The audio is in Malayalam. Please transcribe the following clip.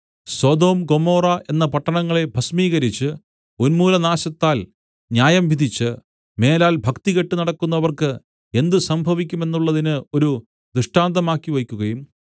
സൊദോം ഗൊമോറ എന്ന പട്ടണങ്ങളെ ഭസ്മീകരിച്ച് ഉന്മൂലനാശത്താൽ ന്യായംവിധിച്ച് മേലാൽ ഭക്തികെട്ട് നടക്കുന്നവർക്ക് എന്ത് സംഭവിക്കുമെന്നുള്ളതിന് ഒരു ദൃഷ്ടാന്തമാക്കിവെക്കുകയും